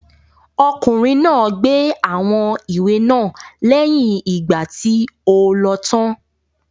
Ọkùnrin náà gbé àwọn ìwé náà lẹ́yìn ìgbà tí o lọ tán.